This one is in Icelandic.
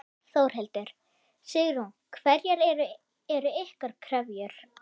Þórhildur: Sigrún, hverjar eru ykkar kröfur?